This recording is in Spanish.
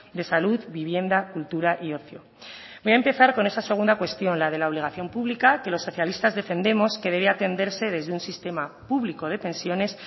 de salud vivienda cultura y ocio voy a empezar con esa segunda cuestión la de la obligación pública que los socialistas defendemos que debe atenderse desde un sistema público de pensiones